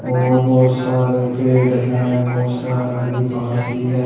और बहोत सारे पेड़ हैं बहोत सारी घास भी है।